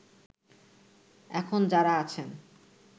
এখন যাঁরা আছেন